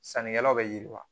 Sannikɛlaw bɛ yiriwa